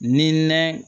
Ni nɛ